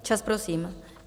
Čas prosím!